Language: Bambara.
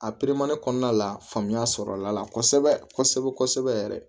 A kɔnɔna la faamuya sɔrɔla a la kosɛbɛ kosɛbɛ kosɛbɛ yɛrɛ